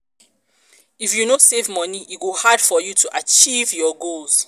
if you no save moni e go hard for you to achieve your goals.